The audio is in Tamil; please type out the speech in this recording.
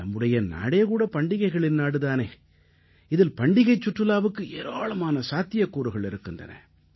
நம்முடைய நாடே கூட பண்டிகைகளின் நாடு தானே இதில் பண்டிகைச் சுற்றுலாவுக்கு ஏராளமான சாத்தியக்கூறுகள் இருக்கின்றன